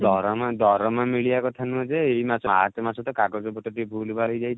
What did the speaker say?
ଦରମା ଦରମା ମିଳିବା କଥା ନୁହଁ ଯେ ଏଇ ମାସ ମାର୍ଚ ମାସ ତ କାଗଜ ପତ୍ର ଟିକେ ଭୁଲ ଭାଲ୍ ହେଯାଇଛି